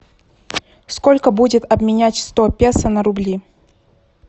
сколько будет обменять сто песо на рубли